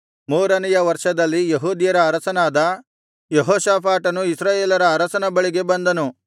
ಮೂರನೆಯ ವರ್ಷದಲ್ಲಿ ಯೆಹೂದ್ಯರ ಅರಸನಾದ ಯೆಹೋಷಾಫಾಟನು ಇಸ್ರಾಯೇಲರ ಅರಸನ ಬಳಿಗೆ ಬಂದನು